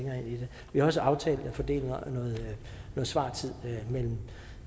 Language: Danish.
vi har også aftalt at fordele noget svartid mellem